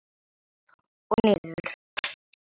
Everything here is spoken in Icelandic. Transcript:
Upp og niður.